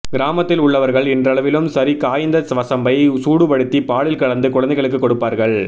கிராமத்தில் உள்ளவர்கள் இன்றளவிலும் சரி காய்ந்த வசம்பை சூடுபடுத்தி பாலில் கலந்து குழந்தைகளுக்கு கொடுப்பார்கள்